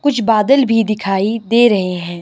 कुछ बदल भी दिखाई दे रहे हैं।